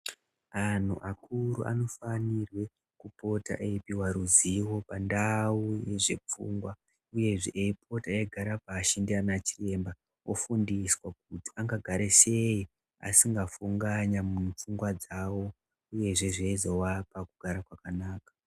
Antu akuru anofanirwe kupota eipuwe ruzivo pandau dzepfungwa uyezve eipota eigara pashi ndiana chiremba, ofundiswa kuti angagaresei asinga funganya mupfungwa dzavo uyezve zveizovapa kugara kwakanaka.